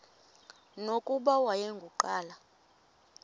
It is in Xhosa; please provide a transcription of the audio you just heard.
nokuba wayengu nqal